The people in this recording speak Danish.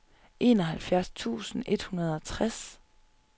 enoghalvfjerds tusind et hundrede og tres